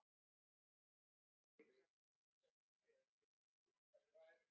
Björn Þorláksson: Þú styður álver hér?